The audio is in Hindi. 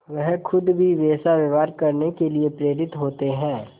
वह खुद भी वैसा व्यवहार करने के लिए प्रेरित होते हैं